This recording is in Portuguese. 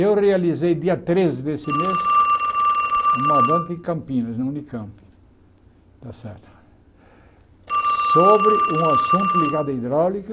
Eu realizei, dia treze deste mês, uma banca em Campinas, na Unicamp está certo, sobre um assunto ligado à hidráulica,